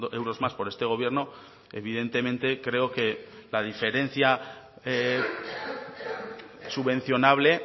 euros más por este gobierno evidentemente creo que la diferencia subvencionable